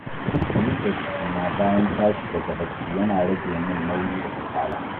Miƙe jikina bayan tashi daga bacci yana rage min nauyi da kasala.